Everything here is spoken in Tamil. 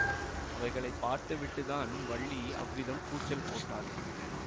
அவைகளை பார்த்து விட்டுத்தான் வள்ளி அவ்விதம் கூச்சல் போட்டாள்